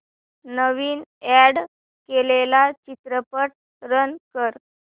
नवीन add केलेला चित्रपट run कर